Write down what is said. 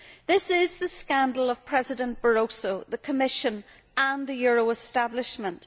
This is the scandal of President Barroso, the Commission and the euro establishment.